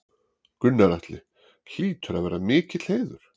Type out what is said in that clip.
Gunnar Atli: Hlýtur að vera mikill heiður?